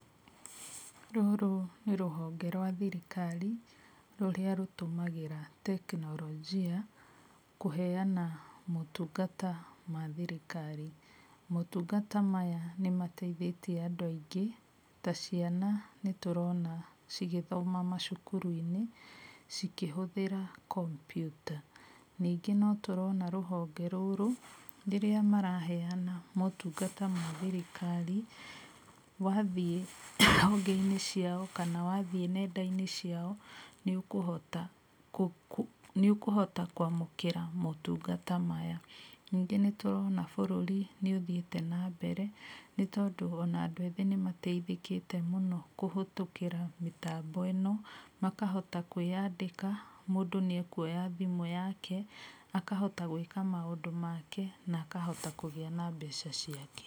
Rũrũ nĩ rũhonge rwa thirikari rũrĩa rũtũmagĩra teknolojia kũheana motungata ma thirikari. Motungata maya nĩmateithĩtie andũ aingĩ ta ciana nĩtũrona cigĩthoma macukuru-inĩ cikĩhũthĩra kombiuta. Ningĩ no tũrona rũhonge rũrũ rĩrĩa maraheana motungata ma thirikari, wathiĩ honge-inĩ ciao kana wathiĩ nenda-inĩ ciao nĩũkũhota nĩũkũhota kwamũkĩra motungata maya. Ningi nĩtũrona bũrũri nĩũthiĩte na mbere nĩtondũ ona andũ athĩ nĩmateithĩkĩte mũno kũhĩtũkĩra mĩtambo ĩno makahota kwĩyandĩka, mũndũ nĩekuoya thimũ yake akahota gwĩka maũndũ make na akahota kũgĩa na mbeca ciake.